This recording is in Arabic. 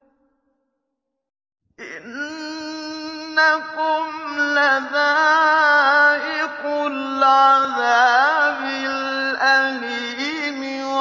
إِنَّكُمْ لَذَائِقُو الْعَذَابِ الْأَلِيمِ